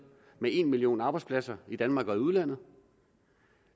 med en million arbejdspladser i danmark og i udlandet